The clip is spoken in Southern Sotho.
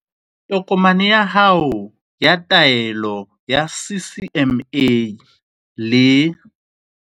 Tokomane ya hao ya taelo ya CCMA, le